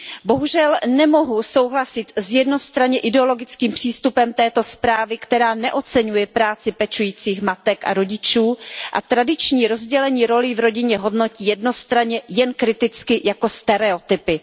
Bohužel nemohu souhlasit s jednostranně ideologickým přístupem této zprávy, která neoceňuje práci pečujících matek a rodičů, a tradiční rozdělení rolí v rodině hodnotí jednostranně, jen kriticky, jako stereotypy.